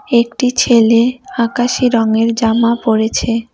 একটি ছেলে আকাশি রঙ্গের জামা পরেছে।